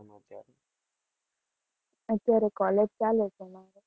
અત્યારે college ચાલે છે.